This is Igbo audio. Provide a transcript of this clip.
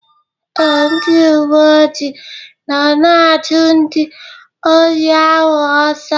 Ee, ndị uwe ojii na-achụ ndị ohi ahụ ọsọ.